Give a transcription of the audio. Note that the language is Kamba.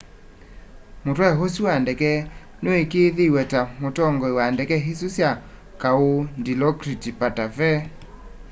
mutwai usu wa ndeke nuikiithiw'e ta mutongoi wa ndeke isu sya kau dilokrit pattavee